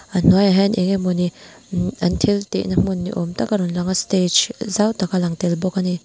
a hnuaiah hian eng emawni umm an thiltihna hmun ni awm tak a rawn lang a stage zau tak alang tel bawk a ni.